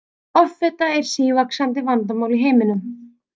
Offita er sívaxandi vandamál í heiminum.